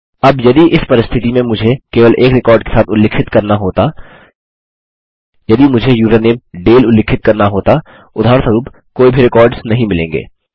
अब यदि इस परिस्थिति में मुझे केवल एक रिकॉर्ड के साथ उल्लिखित करना होता यदि मुझे यूज़रनेम डाले उल्लिखित करना होता उदाहरणस्वरुप कोई भी रिकॉर्ड्स नहीं मिलेंगे